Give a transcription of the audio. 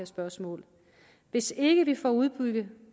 spørgsmål hvis ikke vi får udbygget